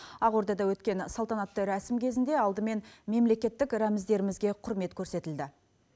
ақордада өткен салтанатты рәсім кезінде алдымен мемлекеттік рәміздерімізге құрмет көрсетілді